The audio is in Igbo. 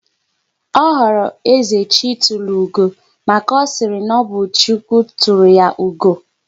Ọ họrọ "Ezechitulugo" maka na ọ sịrị na ọ bụ "Chukwu tụrụ ya ugo"